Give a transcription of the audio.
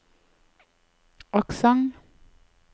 aksent